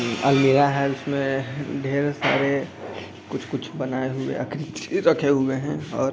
अलमीरा है उसमें ढेर सारे कुछ- कुछ बनाए हुए रखे हुए हैं और --